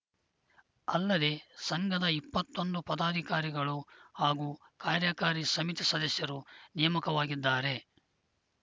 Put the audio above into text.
ಅಲ್ಲದೆ ಸಂಘದ ಇಪ್ಪತ್ತೊಂದು ಪದಾಧಿಕಾರಿಗಳು ಹಾಗೂ ಕಾರ್ಯಕಾರಿ ಸಮಿತಿ ಸದಸ್ಯರು ನೇಮಕವಾಗಿದ್ದಾರೆ